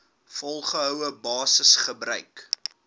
volgehoue basis gebruik